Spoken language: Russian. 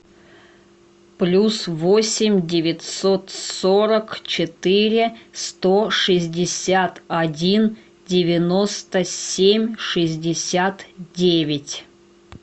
плюс восемь девятьсот сорок четыре сто шестьдесят один девяносто семь шестьдесят девять